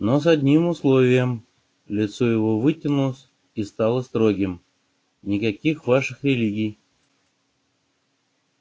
но с одним условием лицо его вытянулось и стало строгим никаких ваших религий